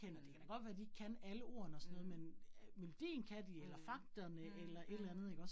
Mh. Mh. Mh, mh mh